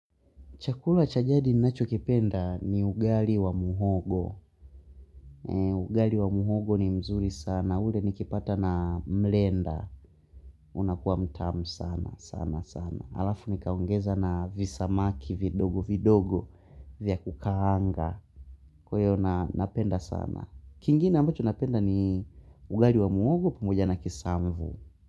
Chakula cha jadi ninacho kipenda ni ugali wa muhogo. Ugali wa muhogo ni mzuri sana. Ule nikipata na mrenda. Unakuwa mtamu sana sana sana. Alafu nikaongeza na visamaki vidogo vidogo. Vya kukaanga. Kwahiyo napenda sana. Kingine ambacho napenda ni ugali wa muhogo pamoja na kisamvu.